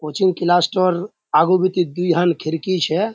कोचिंग क्लासटार आगू पीती दीखान खिड़की छे।